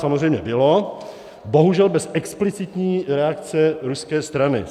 Samozřejmě bylo, bohužel bez explicitní reakce ruské strany.